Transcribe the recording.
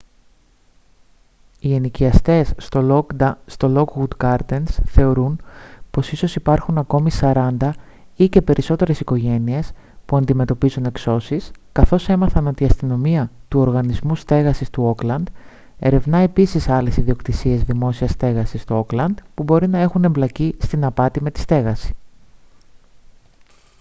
οι ενοικιαστές στο lockwood gardens θεωρούν πως ίσως υπάρχουν ακόμη 40 ή και περισσότερες οικογένειες που αντιμετωπίζουν εξώσεις καθώς έμαθαν ότι η αστυνομία του οργανισμού στέγασης του όκλαντ ερευνά επίσης άλλες ιδιοκτησίες δημόσιας στέγασης στο όκλαντ που μπορεί να έχουν εμπλακεί στην απάτη με τη στέγαση